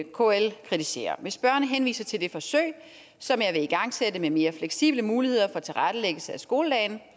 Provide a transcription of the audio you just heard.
kl kritiserer hvis spørgeren henviser til det forsøg som jeg vil igangsætte med mere fleksible muligheder for tilrettelæggelse af skoledagen